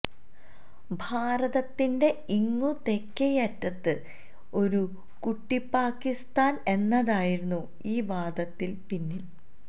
ഭാരതത്തിന്റെ ഇങ്ങു തെക്കേയറ്റത്ത് ഒരു കുട്ടിപ്പാക്കിസ്ഥാന് എന്നതായിരുന്നു ഈ വാദത്തിന് പിന്നില്